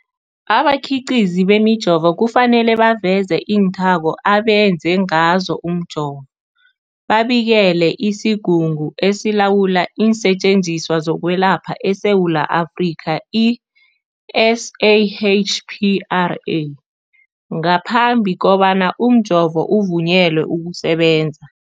Abakhiqizi bemijovo kufanele baveze iinthako abenze ngazo umjovo, babikele isiGungu esiLawula iinSetjenziswa zokweLapha eSewula Afrika, i-SAHPRA, ngaphambi kobana umjovo uvunyelwe ukusebenza.